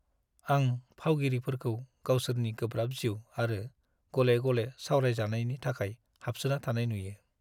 आं फावगिरिफोरखौ गावसोरनि गोब्राब जिउ आरो गले-गले सावरायजानायनि थाखाय हाबसोना थानाय नुयो।